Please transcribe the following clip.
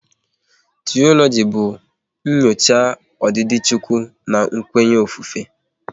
Tiologi bụ nyocha odidi Chukwu na kwenya ofufe